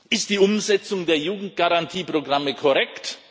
Ist die Umsetzung der Jugendgarantieprogramme korrekt?